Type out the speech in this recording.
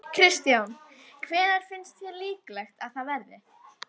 Kristján: Hvenær finnst þér líklegt að það verði?